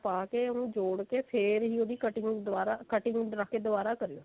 ਪਿਹਲਾਂ ਪਾ ਕੇ ਉਹਨੂੰ ਜੋੜ ਕੇ ਫੇਰ ਹੀ ਉਹਦੀ cutting ਦੁਬਾਰਾ cutting ਕਰਕੇ ਦੁਬਾਰਾ ਕਰਿਓ